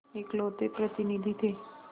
इकलौते प्रतिनिधि थे